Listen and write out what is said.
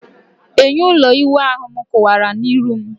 Enyo ulo iwu ahu m kuwara na-iru m